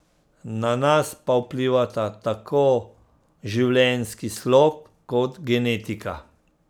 Na nas pa vplivata tako življenjski slog kot genetika.